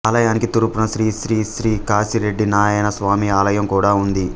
ఆలయానికి తూర్పున శ్రీ శ్రీ శ్రీ కాశిరెడ్డినాయన స్వామి ఆలయం కూడా ఉంది